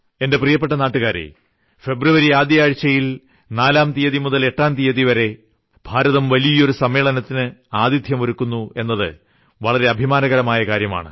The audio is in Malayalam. എന്റെ പ്രിയ നാട്ടുകാരേ ഫെബ്രുവരി ആദ്യആഴ്ചയിൽ 4ാം തീയതി മുതൽ 8ാം തീയതിവരെ ഭാരതം വളരെ വലിയൊരു സമ്മേളനത്തിന് ആതിഥ്യം ഒരുക്കുന്നു എന്നത് വളരെ അഭിമാനകരമായ ഒരു കാര്യമാണ്